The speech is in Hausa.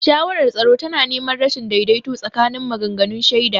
Shawarar tsaro tana neman rashin daidaito tsakanin maganganun shaida.